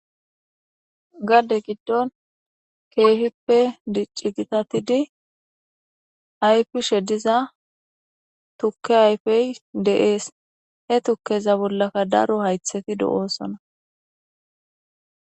Gade giddon keehippe diccigitatidi ayfishe diza tukke ayfey deees he tukkeza bollaka daro haytheti do'oosona